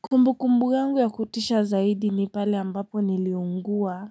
Kumbukumbu yangu ya kutisha zaidi ni pale ambapo niliugua